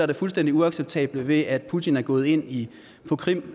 det fuldstændig uacceptable ved at putin er gået ind på krim